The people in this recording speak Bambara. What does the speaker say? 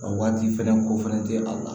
A waati fɛnɛ ko fɛnɛ tɛ a la